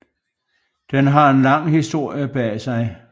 Den har en lang historie bag sig